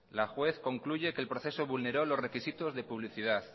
la juez concluye que el proceso vulneró los requisitos de publicidad